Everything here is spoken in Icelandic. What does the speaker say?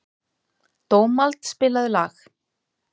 Dómald, spilaðu lag.